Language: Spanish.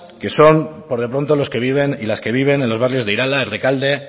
que son por de pronto los que viven y las que viven en los barrios de irala rekalde